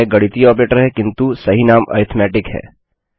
यह एक गणितीय ऑपरेटर है किन्तु सही नाम अरिथ्मेटिक है